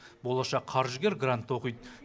болашақ қаржыгер грантта оқиды